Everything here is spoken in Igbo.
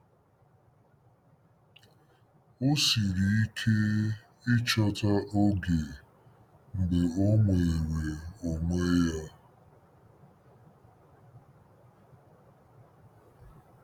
O siri ike ịchọta oge mgbe ọ nwere onwe ya